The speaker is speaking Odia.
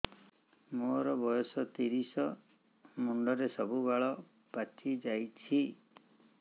ମୋର ବୟସ ତିରିଶ ମୁଣ୍ଡରେ ସବୁ ବାଳ ପାଚିଯାଇଛି